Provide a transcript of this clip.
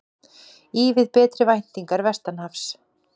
Ívið betri væntingar vestanhafs